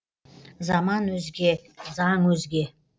заман өзге заң өзге